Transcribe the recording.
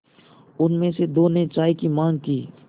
उनमें से दो ने चाय की माँग की